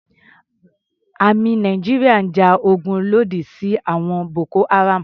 Àmì Nàìjíríà ń ja ogun lòdì sí àwọn Boko-Haram.